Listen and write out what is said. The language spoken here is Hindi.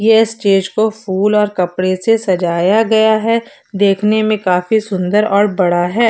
ये स्टेज को फूल और कपड़े से सजाया गया है देखने में काफी सुंदर और बड़ा है।